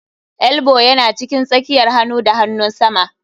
Elbow ya cikin tsakiyar hanu da hanunsama.